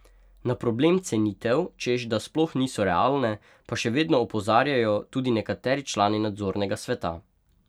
Na problem cenitev, češ da sploh niso realne, pa še vedno opozarjajo tudi nekateri člani nadzornega sveta.